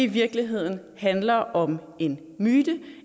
virkeligheden handler om en myte